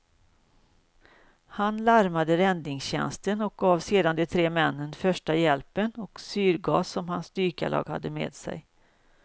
Han larmade räddningstjänsten och gav sedan de tre männen första hjälpen och syrgas som hans dykarlag hade med sig.